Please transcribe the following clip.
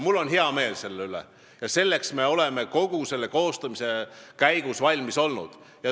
Mul on hea meel selle üle ja selleks me olime selle koostamise käigus valmis.